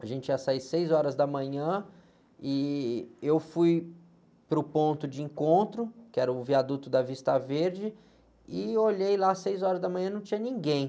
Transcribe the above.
A gente ia sair seis horas da manhã e eu fui para o ponto de encontro, que era o viaduto da Vista Verde, e olhei lá, seis horas da manhã não tinha ninguém.